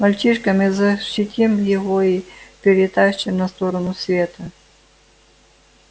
мальчишка мы защитим его и перетащим на сторону света